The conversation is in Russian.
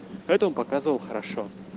поэтому показывал хорошо